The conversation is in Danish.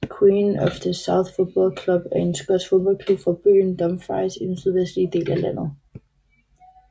Queen of the South Football Club er en skotsk fodboldklub fra byen Dumfries i den sydvestlige del af landet